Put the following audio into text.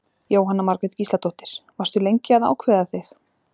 Jóhanna Margrét Gísladóttir: Varstu lengi að ákveða þig?